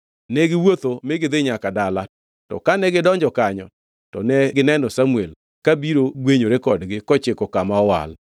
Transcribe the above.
Ne giwuotho mi gidhi nyaka dala, to kane gidonjo kanyo to negineno Samuel, kabiro gwenyore kodgi kochiko kama owal.